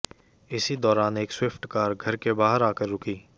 इसी दौरान एक स्वीफ्ट कार घर के बाहर आकर रूकी